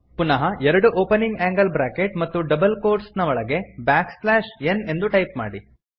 ಪುನಃ ಎರಡು opening angle bracket ಮತ್ತು ಡಬಲ್ ಕೋಟ್ಸ್ ಒಳಗೆ ಬ್ಯಾಕ್ ಸ್ಲ್ಯಾಶ್ ಎನ್ ಎಂದು ಟೈಪ್ ಮಾಡಿ